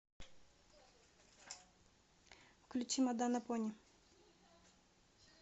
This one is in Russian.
включи моданапони